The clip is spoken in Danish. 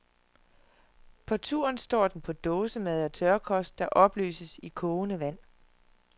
På turen står den på dåsemad og tørkost, der opløses i kogende vand.